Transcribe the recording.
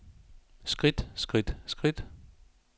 skridt skridt skridt